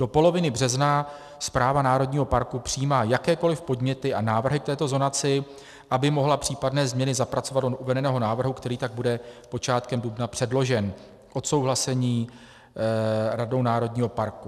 Do poloviny března správa národního parku přijímá jakékoli podněty a návrhy k této zonaci, aby mohla případné změny zapracovat do uvedeného návrhu, který tak bude počátkem dubna předložen k odsouhlasení radou národního parku.